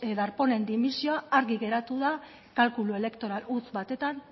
darpónen dimisioa argi geratu da kalkulu elektoral huts batetan